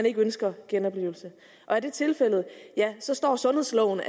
ikke at ønske genoplivelse er det tilfældet så står sundhedsloven